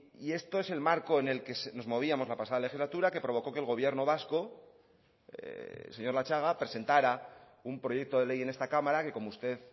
y esto es el marco en el que nos movíamos la pasada legislatura que provocó que el gobierno vasco señor latxaga presentara un proyecto de ley en esta cámara que como usted